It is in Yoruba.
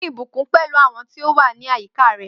Pín ìbùkún pẹ̀lú àwọn tí ó wà ní àyíká rẹ.